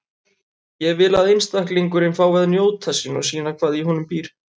Ég vil að einstaklingurinn fái að njóta sín og sýna hvað í honum býr.